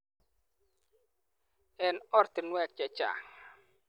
Eng ortinwek che chang.